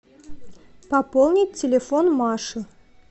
пополнить телефон маши